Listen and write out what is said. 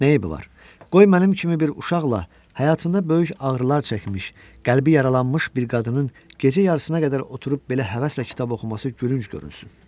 Nəyəmi var, qoy mənim kimi bir uşaqla həyatında böyük ağrılar çəkmiş, qəlbi yaralanmış bir qadının gecə yarısına qədər oturub belə həvəslə kitab oxuması gülünc görünsün.